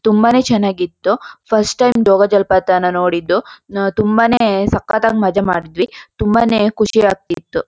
ತುಂಬಾನೇ ಚನ್ನಾಗಿತ್ತು first time ಜೋಗಜಲಪಾತನ ನೋಡಿದ್ದು. ತುಂಬಾನೇ ಸಕತ್ತಾಗಿ ಮಜ ಮಾಡಿದೀವಿ ತುಂಬಾನೇ ಖುಷಿ ಆಗತ್ತಿತು.